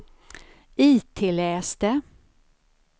itläs det